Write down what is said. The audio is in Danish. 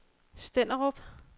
Stenderup